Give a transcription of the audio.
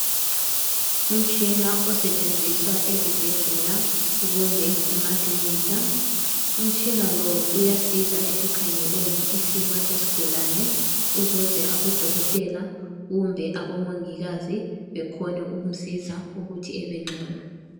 Imitshina osetshenziswa ezibhedlela kumbe emakilinika, umtshina lowu uyasiza ekukhangeleni isimo sesigulane ukuze abodokotela, kumbe abomongikazi bekhone ukumsiza ukuthi ebengcono.